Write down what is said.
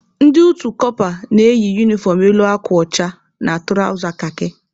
Ndị utu kọpa na-eyi unifọm elu akwa ọcha na tụrawza kakị.